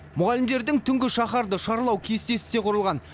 мұғалімдердің түнгі шаһарды шарлау кестесі де құрылған